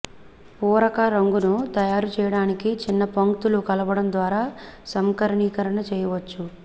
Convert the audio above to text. పూరక రంగును తయారు చేయడానికి చిన్న పంక్తులు కలపడం ద్వారా సంకరీకరణ చేయవచ్చు